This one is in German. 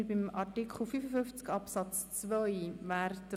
Wir sind nun bei Artikel 55 Absatz 2 angelangt.